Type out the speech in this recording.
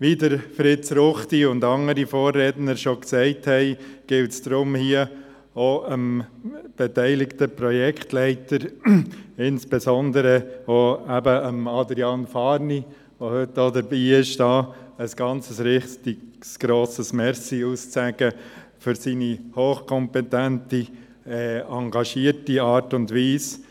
Wie Fritz Ruchti und andere Vorredner schon gesagt haben, gilt es deswegen, hier auch den beteiligten Projektleitern und insbesondere Adrian Fahrni, der heute auch dabei ist, ein richtig grosses Dankeschön auszusprechen für seine hochkompetente, engagierte Art und Weise.